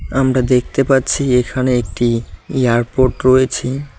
আমরা দেখতে পাচ্ছি এখানে একটি এয়ারপোর্ট রয়েছে।